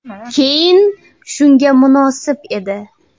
Keyn shunga munosib edi.